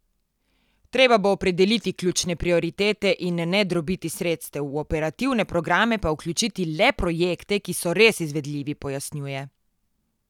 Treba bo opredeliti ključne prioritete in ne drobiti sredstev, v operativne programe pa vključiti le projekte, ki so res izvedljivi, pojasnjuje.